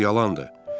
Bu yalandır.